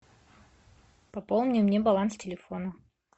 пополни мне баланс телефона